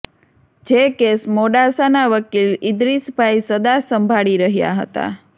જે કેસ મોડાસાના વકીલ ઈદરીશભાઈ સદા સંભાળી રહ્યા હતા